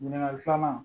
Ɲininkali filanan